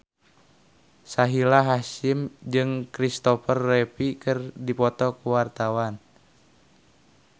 Sahila Hisyam jeung Kristopher Reeve keur dipoto ku wartawan